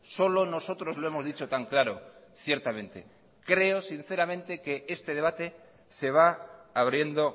solo nosotros lo hemos dicho tan claro ciertamente creo sinceramente que este debate se va abriendo